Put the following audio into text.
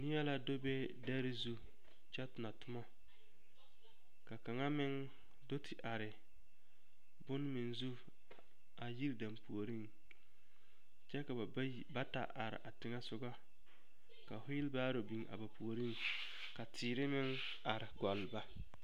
Neɛ la do be dare zu kyɛ tonɔ tomɔ ka kaŋa meŋ do te are bone meŋ zu a yiri dampuoriŋ kyɛ ka ba bayi bata are a teŋɛsogɔ ka weelebaaro biŋ a ba puoriŋ ka teere meŋ are gɔlle ba.